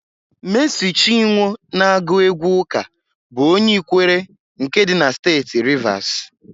Meesị Chinwọ na-agụ égwú ụ́kà bụ onye Ikwere nke dị na Steeti Rivasi.